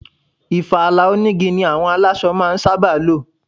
Ìfala onigi ni àwọn aláṣọ máa ń sábà lo.